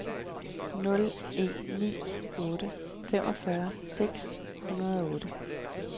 nul en ni otte femogfyrre seks hundrede og otte